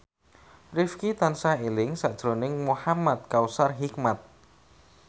Rifqi tansah eling sakjroning Muhamad Kautsar Hikmat